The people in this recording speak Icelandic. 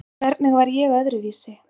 Hvernig var ég öðruvísi?